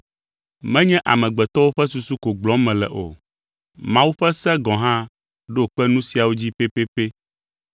Menye amegbetɔwo ƒe susu ko gblɔm mele o; Mawu ƒe se gɔ̃ hã ɖo kpe nu siawo dzi pɛpɛpɛ